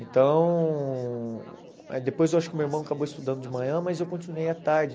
Então, depois eu acho que meu irmão acabou estudando de manhã, mas eu continuei à tarde.